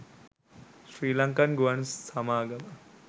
ශ්‍රීලංකන් ගුවන් සමාගම